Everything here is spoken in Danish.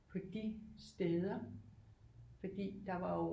På de steder fordi der var jo